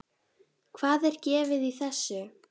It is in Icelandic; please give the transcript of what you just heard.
Hvað er gefið í þessu?